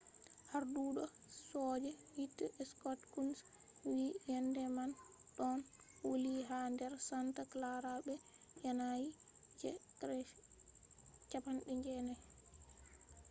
arduɗo soje hite scott kouns wi'i ‘’yende man ɗon wuli ha nder santa clara be yanayi je 90